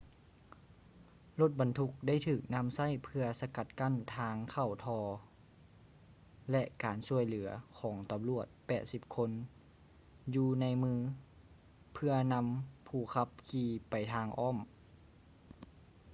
ລົດບັນທຸກໄດ້ຖືກນຳໃຊ້ເພື່ອສະກັດກັ້ນທາງເຂົ້າທໍ່ ແລະ ການຊ່ວຍເຫຼືອຂອງຕຳຫຼວດ 80 ຄົນຢູ່ໃນມືເພື່ອນຳຜູ້ຂັບຂີ່ໄປທາງອ້ອມ